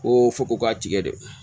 Ko foko ka tigɛ dɛ